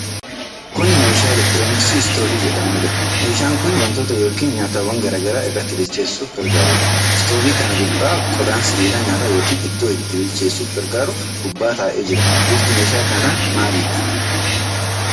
Kuni meeshaa elektirooniksii istoovii jedhamuudha. meeshaan kun wantoota yookiin nyaaatawwan garaa garaa irratti bilcheessuuf gargaarudha. Istoovii kana gubbaa qodaan sibiilaa nyaata yookiin ittoo itti bilcheessuuf gargaaru gubbaa ta'ee jira. Bifti meeshaa kanaa maalidha.